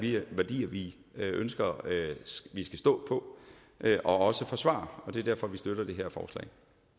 værdier vi ønsker at vi skal stå på og også forsvare det er derfor at vi støtter det her forslag